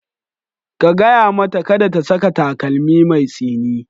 Ka gaya mata kada ta saka takalmi mai tsini.